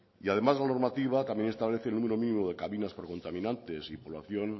y además la normativa también establece el número mínimo de cabinas por contaminantes y población